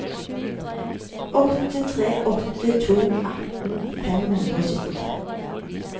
åtte tre åtte to atten fem hundre og syttitre